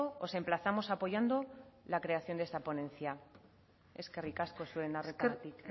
os emplazamos apoyando la creación de esa ponencia eskerrik asko zuen arretagatik